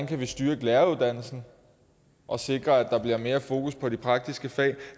kan styre læreruddannelsen og sikre at der bliver mere fokus på de praktiske fag